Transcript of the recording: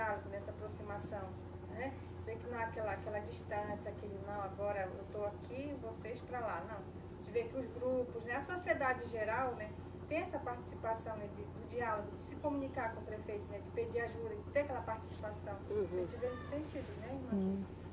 né, essa aproximação, né? Vê que não é aquela, aquela distância, aquele, não, agora eu estou aqui, vocês para lá, não. A gente vê que os grupos, né, a sociedade geral, né, tem essa participação, né, de, o diálogo, de se comunicar com o prefeito, né, de pedir ajuda, e ter aquela participação. Uhum, A gente vê esse sentido, né, irmã?